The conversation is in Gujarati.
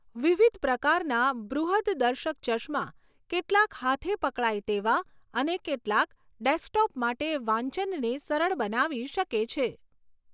વિવિધ પ્રકારના બૃહદદર્શક ચશ્મા, કેટલાક હાથે પકડાય તેવા અને કેટલાક ડેસ્કટોપ માટે વાંચનને સરળ બનાવી શકે છે.